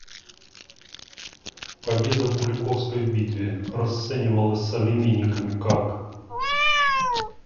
победа в куликовской битве расценивалась современниками как